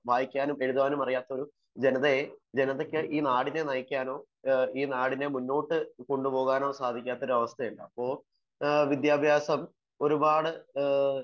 വായിക്കാനും അറിയാനുംഅറിയാത്ത ഒരു ജനതയെ ജനതക്ക് ഈ നാടിനെ നയിക്കാനോ നാടിനെ മുന്നോട്ട് കൊണ്ടുപോവാനോ പറ്റാത്ത അവസ്ഥയുണ്ടാകും